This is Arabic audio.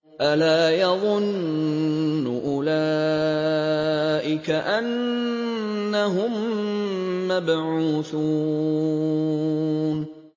أَلَا يَظُنُّ أُولَٰئِكَ أَنَّهُم مَّبْعُوثُونَ